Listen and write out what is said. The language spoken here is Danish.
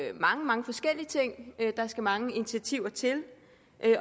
jo mange mange forskellige ting der skal mange initiativer til